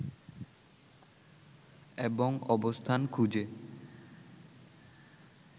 এবং অবস্থান খুঁজে